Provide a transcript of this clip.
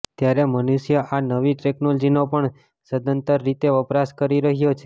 ત્યારે મનુષ્ય આ નવી ટેકનોલોજીનો પણ સંદતર રીતે વપરાશ કરી રહ્યો છે